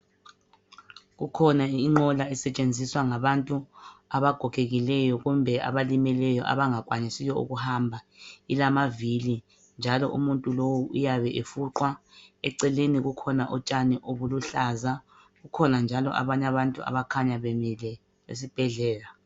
Kukhona inqola esetshenziswa ngabantu abagogekileyo kumbe abalimeleyo abangakwanisiyo ukuhamba ilamavili njalo umuntu lowu uyabe efuqwa eceleni kukhona utshani obuluhlaza kukhona njalo abanye abantu abakhanya bemile esibhedlela